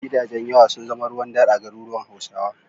Gidajen yawa sun zama ruwan dare a garuruwan Hausawa.